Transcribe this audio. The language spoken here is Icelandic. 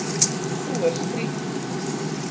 Sú er skrýtin.